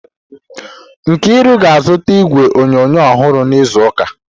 Nkiru ga-azụta igwe onyonyo ọhụrụ n'izu ụka.